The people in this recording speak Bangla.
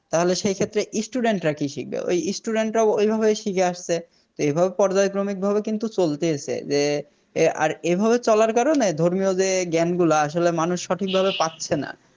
তাহলে সেক্ষেত্রে Student রা কি শিখবে ওই Student রাই ওই ভাবেই শিখে আসছে এই ভাবে পর্যায় ক্রমিকভাবে কিন্তু চলতেছে যে এ আর এভাবে চলার কারণে ধর্মীয় যে জ্ঞান গুলা আসলে মানুষ সঠিক ভাবে পারছে না